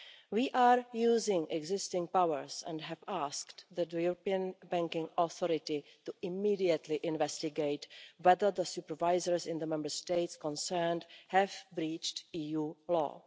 We are using existing powers and have asked the European Banking Authority to immediately investigate whether other supervisors in the Member States concerned have breached EU law.